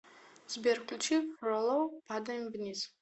сбер включи фролов падаем вниз